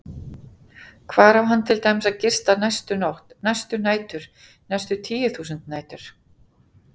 Hvar á hann til dæmis að gista næstu nótt, næstu nætur, næstu tíu þúsund nætur?